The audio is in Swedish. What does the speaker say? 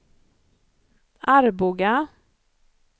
Arboga